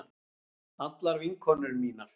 Allar vinkonur mínar.